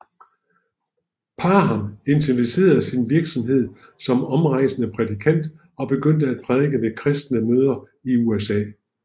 Parham intensiverede sin virksomhed som omrejsende prædikant og begyndte at prædike ved kristne møder i USA